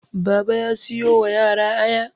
Baba ya siyo wa yara Aya